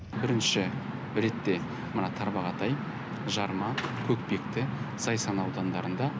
бірінші ретте мына тарбағатай жарма көкпекті зайсан аудандарында